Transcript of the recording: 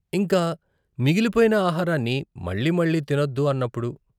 ఇంకా మిగిలిపోయిన ఆహారాన్ని మళ్ళీ మళ్ళీ తినొద్దు అన్నప్పుడు.